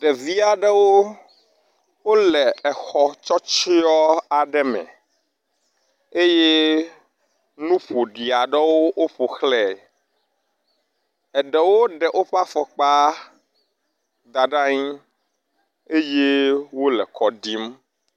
Ɖevi aɖewo wole exɔ tsɔtsyɔ aɖe me eye nu ƒoɖi aɖewo woƒo xlɛe. eɖewo ɖe woƒe afɔkpa da ɖe anyi eye wole ekɔ ɖim.